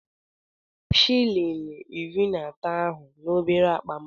Debe shịlịn iri na atọ ahụ n'obere akpa m!